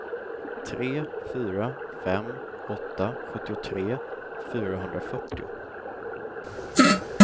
tre fyra fem åtta sjuttiotre fyrahundrafyrtio